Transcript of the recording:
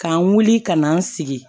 K'an wuli ka na an sigi